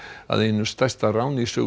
að einu stærsta ráni í sögu